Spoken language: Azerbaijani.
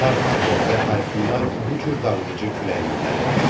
Tornado və tayfunlar bu cür dağıdıcı külək növləridir.